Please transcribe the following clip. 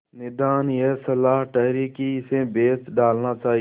निदान यह सलाह ठहरी कि इसे बेच डालना चाहिए